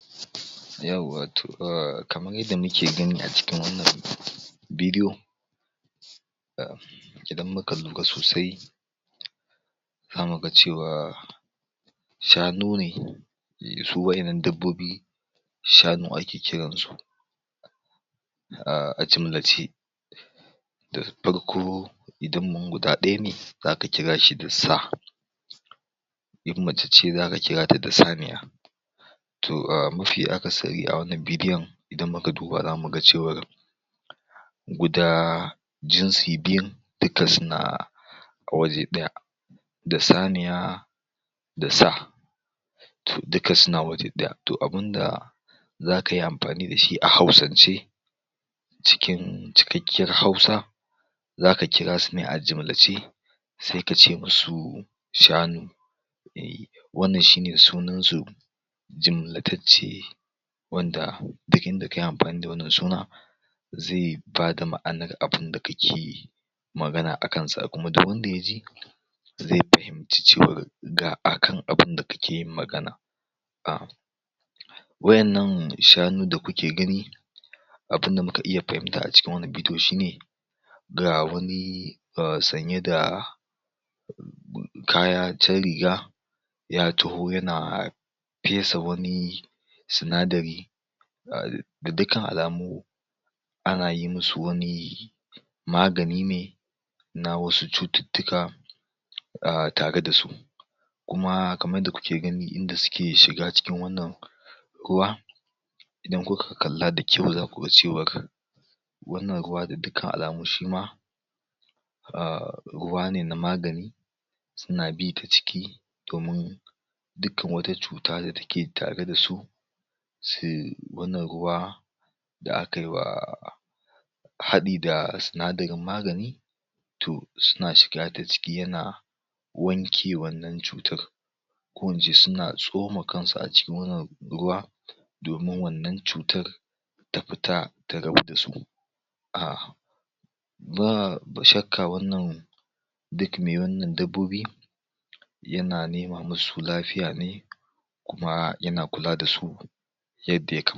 yauwa to um kamar yanda muke gani a acikin wannan bidiyo idan muka lura sosai zamu ga cewa shanu ne su wa'ennan dabbobi shanu ake kiran su um a jimlace da farko idan guda ɗaya ne zaka kira shi da sa in mace ce zaka kira ta da saniya to um mafi akasari a wannan bidiyon idan muka duba zamu ga cewar guda jinsi biyun duka suna a waje ɗaya da saniya da sa to duka suna waje ɗaya to abunda zaka yi amfani da shi a hausan ce cikin cikakkiyar Hausa zaka kira su ne a jimlace se kace mu su shanu wannan shine sunan su jimlatacce wanda duk inda kayi amfani da wannan suna ze bada ma'anar abunda kake magana akansa kuma duk wanda ya ji ze fahim ci cewar ga akan abunda kake yin magana wa'ennan shanu da kuke gani abunda muka iya fahimta a cikin wannan bidiyo shine ga wani um sanye da kaya riga ya taho yana fesa wani sinadari da dukkan alamu ana yi mu su wani magani ne na wasu cututtuka um tare da su kuma kamar yadda kuke gani inda suke shiga cikin wannan ruwa idan kuka kalla da kyau zaku ga cewar wannan ruwa da dukkan alamu shima um ruwa ne na magani suna bi ta ciki domin dukkan wata cuta da take tare da su su wannan ruwa da aka yi wa haɗi da sinadarin magani to suna shiga ta ciki yana wanke wannan cutar ko ince suna tsoma kan su a cikin wannan ruwa domin wannan cutar ta fita ta rabu da su um babu shakka wannan duk me wannan dabbobi yana nema mu su lafiya ne kuma yana kula da su yadda ya